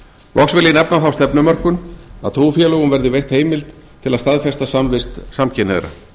loks vil ég nefna þá stefnumörkun að trúfélögum verði veitt heimild til að staðfesta samvist samkynhneigðra